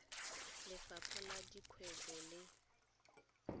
le lefapha la dikgwebo le